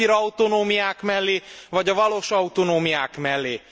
A papírautonómiák mellé vagy a valós autonómiák mellé?